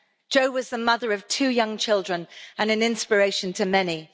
Jo was the mother of two young children and an inspiration to many.